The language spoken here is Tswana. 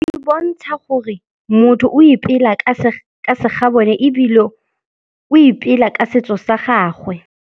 E bontsha gore motho o ipela ka segabone ebile o ipela ka setso sa gagwe.